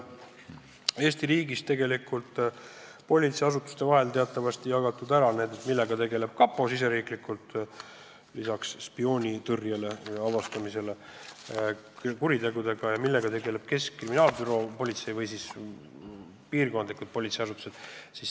Eesti riigis on politseiasutuste vahel teatavasti ära jagatud, millega tegeleb kapo lisaks spioonide avastamisele, millega tegeleb keskkriminaalpolitsei ja millega tegelevad piirkondlikud politseiasutused.